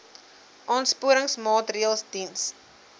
aansporingsmaatre ls diens